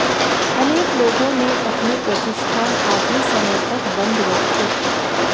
अनेक लोगों ने अपने प्रतिष्ठान आधे समय तक बंद रखे